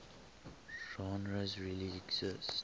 genres really exist